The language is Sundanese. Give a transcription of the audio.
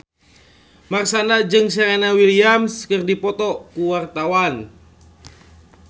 Marshanda jeung Serena Williams keur dipoto ku wartawan